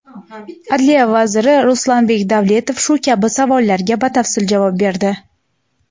Adliya vaziri Ruslanbek Davletov shu kabi savollarga batafsil javob berdi.